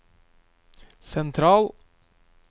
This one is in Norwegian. sentral